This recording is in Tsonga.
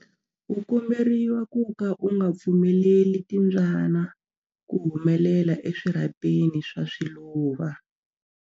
U komberiwa ku ka u nga pfumeleli timbyana ku humela eswirhapeni swa swiluva.